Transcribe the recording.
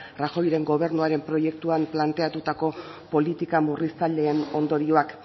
rajoyren gobernuaren proiektuan planteatutako politika murriztaileen ondorioak